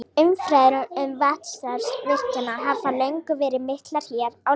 Umræður um vatnsaflsvirkjanir hafa löngum verið miklar hér á landi.